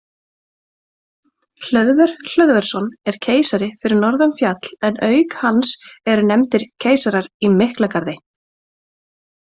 Hlöðver Hlöðversson er keisari fyrir norðan fjall en auk hans eru nefndir keisarar í Miklagarði.